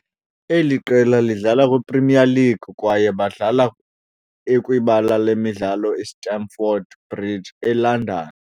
eli qela lidlala kwiPremier League, kwaye badlala ekwibala lemidlalo iStamford Bridge eLondon.